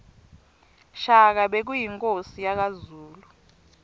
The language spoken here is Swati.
shaka bekuyinkhosi yakazulu